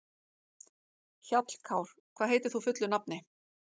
Hjallkár, hvað heitir þú fullu nafni?